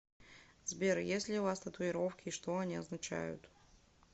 сбер есть ли у вас татуировки и что они означают